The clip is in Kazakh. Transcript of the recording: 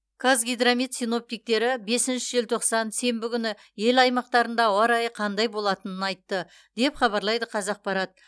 қазгидромет синоптиктері бесінші желтоқсан сенбі күні ел аймақтарында ауа райы қандай болатынын айтты деп хабарлайды қазақпарат